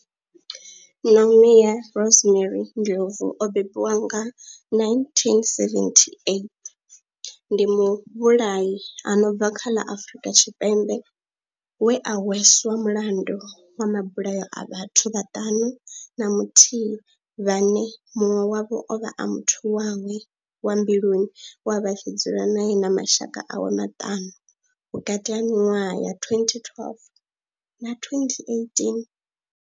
Nomia Rosemary Ndlovu o bebiwaho nga, 1978, ndi muvhulahi a no bva kha ḽa Afrika Tshipembe we a hweswa mulandu wa mabulayo a vhathu vhaṱanu na muthihi vhane munwe wavho ovha a muthu wawe wa mbiluni we avha a tshi dzula nae na mashaka awe maṱanu, vhukati ha miṅwaha ya 2012 na 2018.